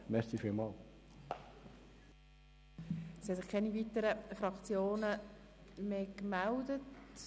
Es haben sich keine weiteren Fraktionen mehr gemeldet.